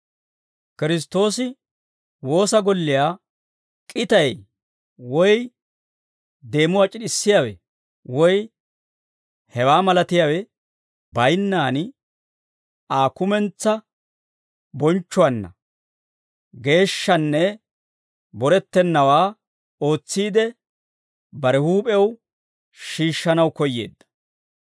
Kiristtoosi woosa golliyaa k'itay woy deemuwaa c'id'd'issiyaawe woy hewaa malatiyaawe bayinnaan, Aa kumentsaa bonchchuwaanna geeshshaanne borettennawaa ootsiide, bare huup'ew shiishshanaw koyyeedda.